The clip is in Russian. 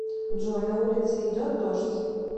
джой на улице идет дождь